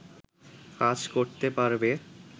কাজ করতে পারবে